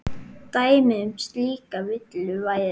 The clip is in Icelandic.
Dæmi um slíka villu væri